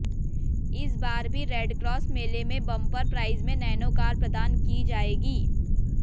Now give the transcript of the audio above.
इस बार भी रेडक्रॉस मेले में बंपर प्राइज में नैनो कार प्रदान की जाएगी